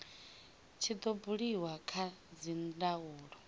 tshi do buliwa kha dzindaulo